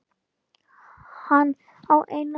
Hann á eina dóttur.